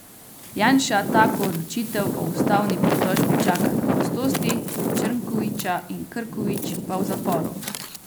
Janša tako odločitev o ustavni pritožbi čaka na prostosti, Črnkoviča in Krkovič pa v zaporu.